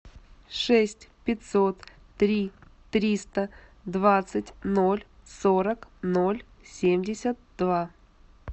шесть пятьсот три триста двадцать ноль сорок ноль семьдесят два